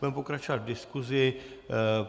Budeme pokračovat v diskusi.